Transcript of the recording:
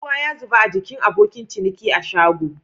Ruwa ya zuba a gikin abokin ciniki a shago.